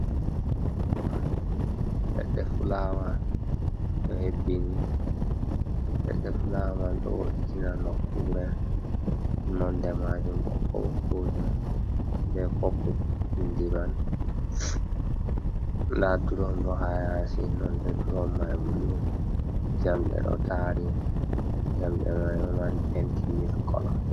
Fulawa, leɗɗe fulawa ɗo hebbini, leɗɗe fulaman ɗo vo’itina nokkure nonde majun ɓokko-ɓokko jum be popul bindi man, nda durom ɗo hayasi nonde durum man bulu jamɗe ɗo tari jamɗe mai ɗomari penti mili kolo.